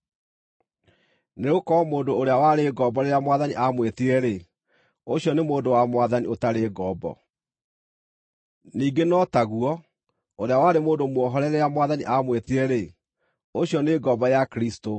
Nĩgũkorwo mũndũ ũrĩa warĩ ngombo rĩrĩa Mwathani aamwĩtire-rĩ, ũcio nĩ mũndũ wa Mwathani ũtarĩ ngombo; ningĩ no taguo, ũrĩa warĩ mũndũ muohore rĩrĩa Mwathani aamwĩtire-rĩ, ũcio nĩ ngombo ya Kristũ.